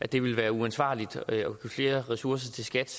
det ville være uansvarligt at give flere ressourcer til skat